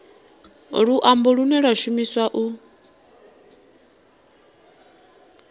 luambo lune lwa shumiswa u